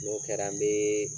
N'o kɛra n be